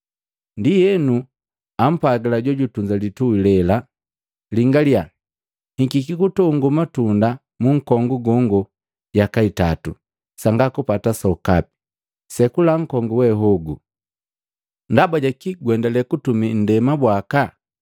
Ndienu ampwagila jojutunza litui lela, ‘Lingalya, hikika kutongo matunda munkongu gongo yaka itatu, sanga kupata sokapi. Sekula nkongu wehogu! Ndaba jaki guendale kutumi ndema bwaka?’